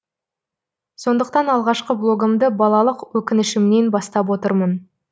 сондықтан алғашқы блогымды балалық өкінішімнен бастап отырмын